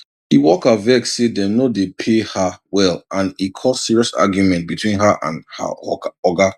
the worker vex say dem no dey pay her well and e cause serious argument between her and her oga